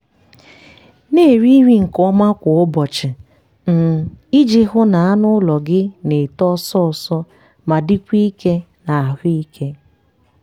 na-eri nri nke ọma kwa ụbọchị um iji hụ na anụ ụlọ gị na-eto ọsọ ọsọ ma dịkwa ike na ahụike.